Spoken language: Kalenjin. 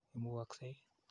Imugoksei ii?